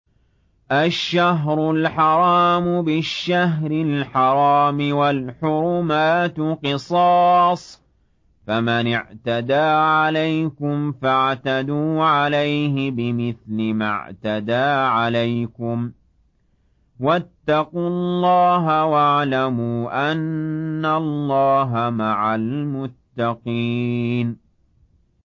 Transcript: الشَّهْرُ الْحَرَامُ بِالشَّهْرِ الْحَرَامِ وَالْحُرُمَاتُ قِصَاصٌ ۚ فَمَنِ اعْتَدَىٰ عَلَيْكُمْ فَاعْتَدُوا عَلَيْهِ بِمِثْلِ مَا اعْتَدَىٰ عَلَيْكُمْ ۚ وَاتَّقُوا اللَّهَ وَاعْلَمُوا أَنَّ اللَّهَ مَعَ الْمُتَّقِينَ